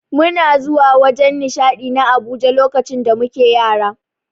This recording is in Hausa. Muna zuwa wajen nishadi na Abuja lokacin da muke Yara.